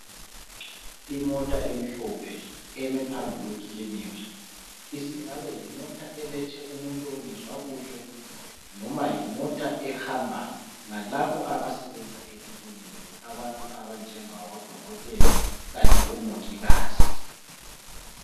Imota emhlophe emephambi kwekilinika. Isingabe yimota elethe umuntu ongezwa kuhle noma yimota ehamba ngalabo abasebenza ekiliniki. Abantu abanjengabo dokotela kanye omongikazi.